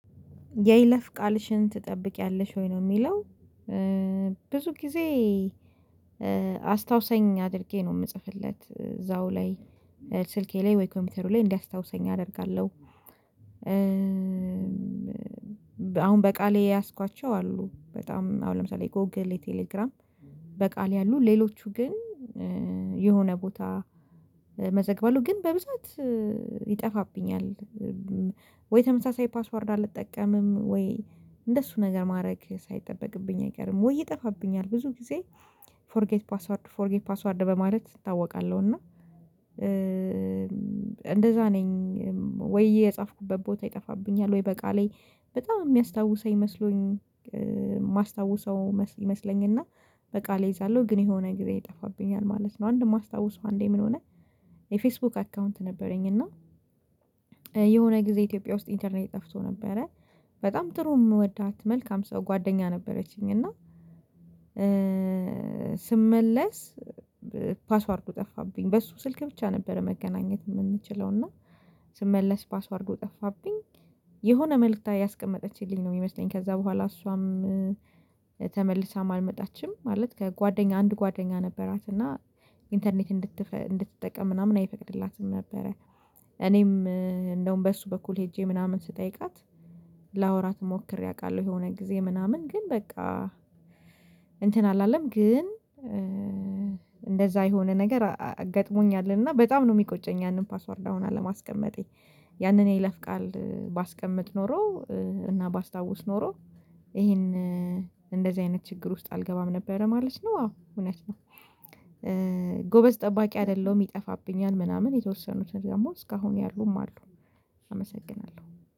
የይለፍ ቃልሽን ትጠብቂያለሽ ወይ? ነው የሚለው ብዙ ጊዜ አስታውሰኝ አድርጌ ነው የምጽፍለት እዛው ላይ ስልኬ ላይ ወይ ኮምፒውተሩ ላይ እንዲያስታውሰኝ አደርጋለሁ፤ አሁን በቃሌ የያዝኳቸው አሉ በጣም አሁን ለምሳሌ ጎግል የቴሌግራም በቃል ያሉ ሌሎቹ ግን የሆነ ቦታ እመዘግለሁ ግን በብዛት ይጠፋብኛል ወይ ተመሳሳይ ፓስወርድ አልጠቀምም ወይ እንደሱ ነገር ማድረግ ሳይጠበቅብኝ አይቀርም ወይ ይጠፋብኛል ብዙ ጊዜ ፎርጌት ፓስወርድ ፎርጌት ፓስወርድ በማለት እታወቃለሁ እና እንደዛ ነኝ ወዬ የጻፍኩበት ቦታ ይጠፋብኛል ወይ በቃሌ በጣም የሚያስታውሰኝ መስሎኝ የማስታውሰው ይመስለኛል እና በቃሌ እይዛለሁ ግን የሆነ ጊዜ ይጠፋብኛል ማለት ነው አንድ የማስታውሰው አንዴ ምን ሆነ የፌስቡክ አካውንት ነበረኝ እና የሆነ ጊዜ ኢትዮጵያ ውስጥ ኢንተርኔት ጠፍቶ ነበረ በጣም ጥሩ የምወዳት መልካም ሰው ጓደኛ ነበረችኝ እና ስመለስ ፓስዋርዱ ጠፋብኝ በሱ ስልክ ብቻ ነበር መገናኘት የምንችለው እና ስመለስ ፓስዋርዱ ጠፋብኝ የሆነ መልእክት ያስቀመጠችልኝ ነው የሚመስለኝ ከዛ በኋላ እሷም ተመልሳ አልመጣችም ማለት ከጓደኛ አንድ ጓደኛ ነበራት እና ኢንተርኔት እንድትጠቀም ምናምን አይፈቅድላትም ነበረ እኔም እንደውም በሱ በኩል ሄጄ ምናምን ስጠይቃት ላወራት ሞክሬ አውቃለሁ የሆነ ጊዜ ምናምን ግን በቃ እንትን አላለም ግን እንደዛ የሆነ ነገር ገጥሞኛል እና በጣም ነው የሚቆጨኝ ያንን ፓስወር አሁን አለማስቀመጤ፤ ያንን የለፍ ቃል ባስቀምጥ ኖሮ እና ባስታውስ ኖሮ ይሄን እንደዚህ አይነት ችግር ውስጥ አልገባም ነበር ማለት ነው አዎ እውነት ነው፤ ጎበዝ ጠባቂ አይደለሁም ይጠፋብኛል ምናምን የተወሰኑትን ደግሞ እስካሁን ያሉም አሉ አመሰግናለሁ።